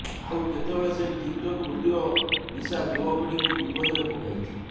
ଆଉ କେତେବେଳେ ସେହି ଟିକ୍ ଟକ୍ ଭିଡ଼ିଓ ନିଶା ଯୁବ ପିଢ଼ିଙ୍କୁ ବିପଦରେ ପକାଇଛି